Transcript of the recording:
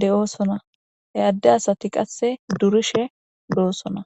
de'osona e adde asati qasse durishe doosona